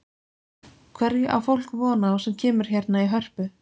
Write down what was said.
Hverju á fólk von á sem kemur hérna í Hörpu?